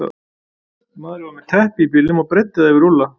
Maðurinn var með teppi í bílnum og breiddi það yfir Úlla.